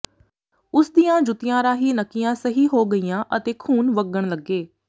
ਉਸ ਦੀਆਂ ਜੁੱਤੀਆਂ ਰਾਹੀਂ ਨੱਕੀਆਂ ਸਹੀ ਹੋ ਗਈਆਂ ਅਤੇ ਖੂਨ ਵਗਣ ਲੱਗੇ